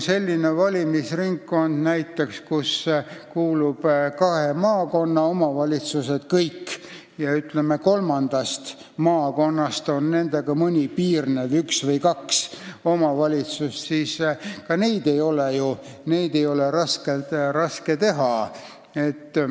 Sellist valimisringkonda näiteks, kuhu kuuluvad kõik kahe maakonna omavalitsused ja kolmandast maakonnast mõni nendega piirnev, üks või kaks omavalitsust, ei ole ju raske teha.